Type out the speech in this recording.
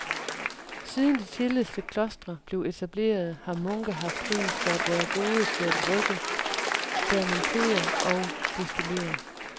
Siden de tidligste klostre blev etableret har munke haft ry for at være gode til at brygge, fermentere og destillere.